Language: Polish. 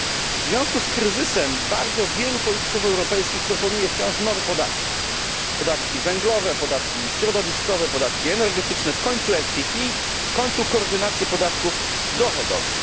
W związku z kryzysem bardzo wielu polityków europejskich proponuje wciąż nowe podatki podatki węglowe, środowiskowe, energetyczne, w końcu PTF, w końcu koordynację podatków dochodowych.